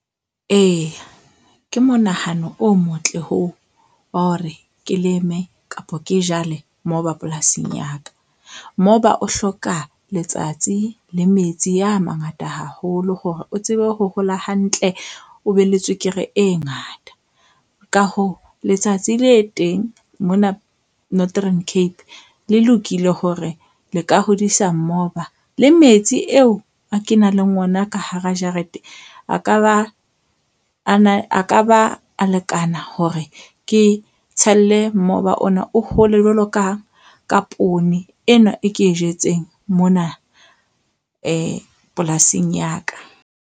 Ee, ke monahano o motle oo wa hore ke leme kapa ke jale moba polasing ya ka. Moba o hloka letsatsi le metsi ya a mangata haholo hore o tsebe ho hola hantle. O be le tswekere e ngata. Ka hoo letsatsi le teng mona Northern Cape le lokile hore le ka hodisa mmoba le metsi eo ke nang le ona ka hara jarete. A ka ba ana a ka ba a lekana hore ke tshelle mobu ona o hole jwalo ka ka poone enwa e ke e jetseng mona polasing ya ka.